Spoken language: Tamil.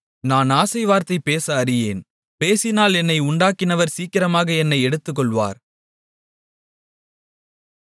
நான் ஆசை வார்த்தை பேச அறியேன் பேசினால் என்னை உண்டாக்கினவர் சீக்கிரமாக என்னை எடுத்துக்கொள்வார்